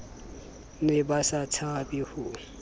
ne ba sa tshabe ho